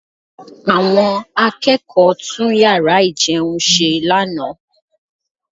Àwọn akẹ́kọ̀ọ́ tún yàrá ìjẹun ṣe lánàá